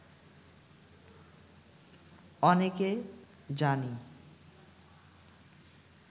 অনেকে, জানি